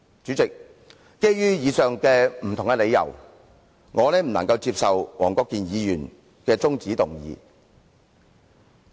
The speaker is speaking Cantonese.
主席，基於以上不同的理由，我不能夠接受黃國健議員的中止待續議案。